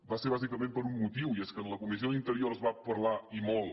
va ser bàsicament per un motiu i és que en la comissió d’interior es va parlar i molt